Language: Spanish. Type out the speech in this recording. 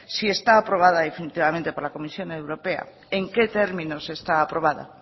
si está aprobada definitivamente por la comisión europea en qué términos está aprobada